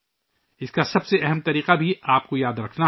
اس کا سب سے اہم طریقہ بھی آپ کو یاد رکھنا ہے